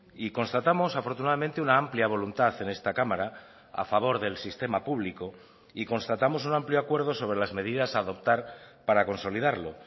y constatamos afortunadamente una amplia voluntad en esta cámara a favor del sistema público y constatamos un amplio acuerdo sobre las medidas a adoptar para consolidarlo